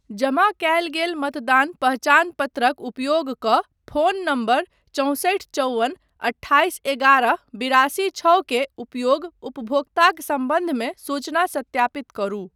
जमा कयल गेल मतदान पहचान पत्रक उपयोग कऽ फोन नम्बर चौँसठि चौवन अठाइस एगारह बिरासी छओ के उपयोग उपभोक्ताक सम्बन्धमे सूचना सत्यापित करू।